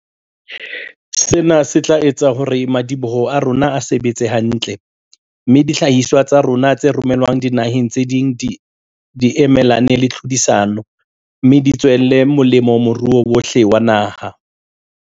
Sena se tla etsa hore madi-boho a rona a sebetse hantle, mme dihlahiswa tsa rona tse romelwang dinaheng tse ding di emelane le tlhodisano, me di tswele molemo moruo wohle wa naha.